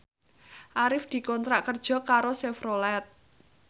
Arif dikontrak kerja karo Chevrolet